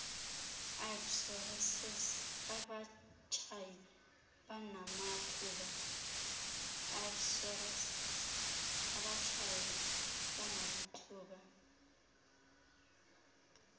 ipsorassis abatshayi banamathuba